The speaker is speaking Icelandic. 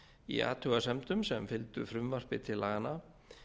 í athugasemdum sem fylgdu frumvarpi til laganna